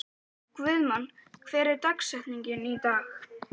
Guðmon, hver er dagsetningin í dag?